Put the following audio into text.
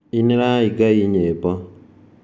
Inĩrai Ngai nyĩmbo.